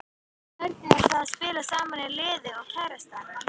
Hvernig er það að spila í sama liði og kærastan?